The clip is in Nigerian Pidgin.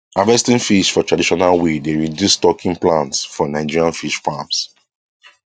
harvesting fish for traditional way dey reduce stocking plans for nigerian fish farms